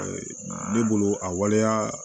Ne bolo a waleya